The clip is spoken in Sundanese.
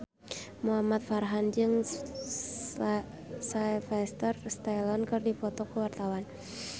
Muhamad Farhan jeung Sylvester Stallone keur dipoto ku wartawan